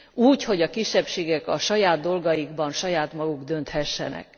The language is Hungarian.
úgy, hogy a kisebbségek a saját dolgaikban saját maguk dönthessenek.